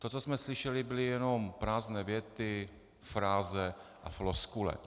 To, co jsme slyšeli, byly jenom prázdné věty, fráze a floskule.